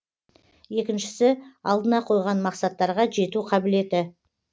екіншісі алдына қойған мақсаттарға жету қабілеті